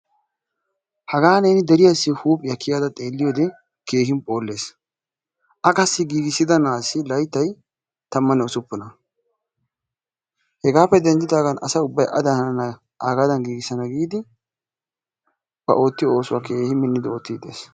Hagaa neeni deriyaasi huuphphiya kiyada xeeliyode keehiippe phoolees. A qassi giigissida naasi layttay tamane ussupunna hegaappe dendidaagaan asa ubbay adan hanana agaadan giigissana giidi ba oottiyo oosuwaa keehii minidi oottidi dees.